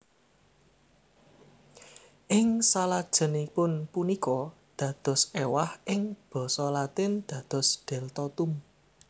Ing salajengipun punika dados ewah ing basa Latin dados Deltotum